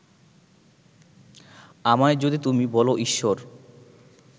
আমায় যদি তুমি বলো ঈশ্বর